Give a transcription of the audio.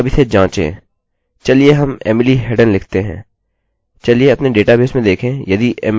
चलिए अब इसे जाँचें चलिए हम emily headen लिखते हैं